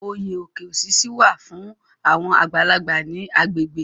Oyè Oke osisi wà fún àwọn àgbàlagbà ní agbègbè.